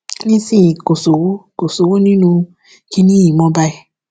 nísìnyìí kò sówó kò sówó nínú kinní yìí mọ báyìí